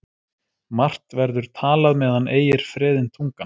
Margt verður talað meðan ei er freðin tungan.